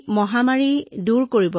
আমি মহামাৰীৰ মাজেৰে পাৰ হম